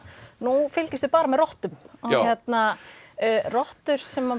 nú fylgjumst við bara með rottum rottur sem